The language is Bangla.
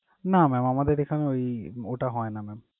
না mam আমাদের এখানে ওই ওটা হয়না mam ।